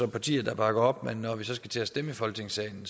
partier der bakker op men når vi så skal til at stemme i folketingssalen